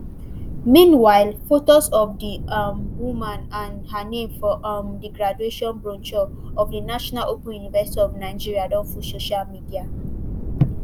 meanwhile photos of di um woman and her name for um di graduation brochure of di national open university of nigeria don full social media